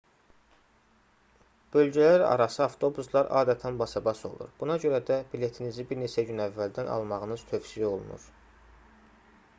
bölgələrarası avtobuslar adətən basabas olur buna görə də biletinizi bir neçə gün əvvəldən almağınız tövsiyə olunur